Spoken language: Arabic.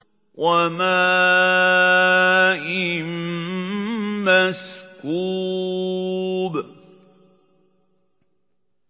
وَمَاءٍ مَّسْكُوبٍ